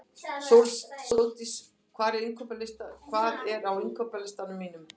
Sóldís, hvað er á innkaupalistanum mínum?